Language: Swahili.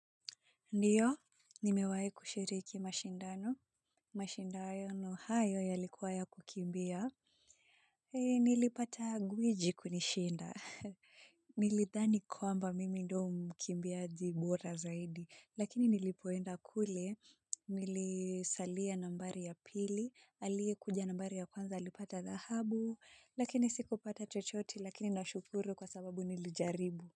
Ndiyo, nimewai kushiriki mashindano, mashindano hayo yalikuwa ya kukimbia. Nilipata gwiji kunishinda. Nilithani kwamba mimi ndio mkimbiaji bora zaidi. Lakini nilipoenda kule, nilisalia nambari ya pili, aliye kuja nambari ya kwanza, alipata dhahabu, lakini siku pata chochote lakini na shukuru kwa sababu nilijaribu.